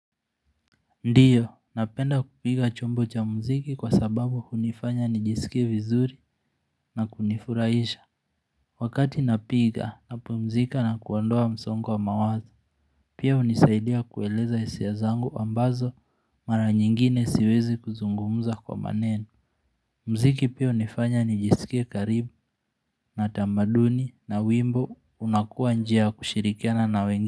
Ndio, napenda kupiga chombo cha muziki kwa sababu hunifanya nijisike vizuri na kunifurahisha wakati napiga napumzika na kuondoa msongo wa mawazo pia hunisaidia kueleza hisia zangu ambazo mara nyingine siwezi kuzungumuza kwa maneno muziki pia hunifanya nijisike karibu na tamaduni na wimbo unakuwa njia ya kushirikiana na wengine.